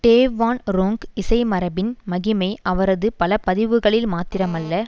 Dave Van Ronk இசை மரபின் மகிமை அவரது பல பதிவுகளில் மாத்திரமல்ல